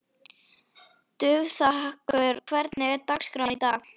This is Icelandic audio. Dufþakur, hvernig er dagskráin í dag?